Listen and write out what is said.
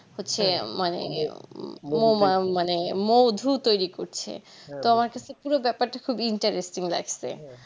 হচ্ছে মানে মানে মধু তৈরি করছে তো আমার কাছে কি বা ব্যাপারটা খুব Interesting লাগসে